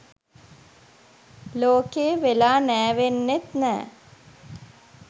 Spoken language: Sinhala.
ලෝකෙ වෙලා නෑවෙන්නෙත් නෑ.